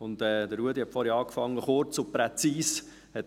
Ruedi Löffel hat vorhin begonnen mit «kurz und präzise».